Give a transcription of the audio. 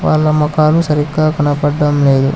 వాళ్ళ ముఖాలు సరిగ్గా కనబడడం లేదు.